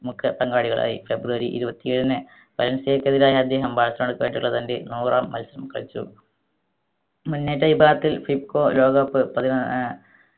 മുഖ്യ പങ്കാളികളായി ഫെബ്രുവരി ഇരുവത്തി ഏഴിന് പെനിൻസുലക്കെതിരായ അദ്ദേഹം ബാഴ്‌സലോണക്കായിട്ടുള്ള തൻറെ നൂറാം മത്സരം കളിച്ചു മുന്നേറ്റ വിഭാഗത്തിൽ fifco ലോക cup പതിനാ ഏർ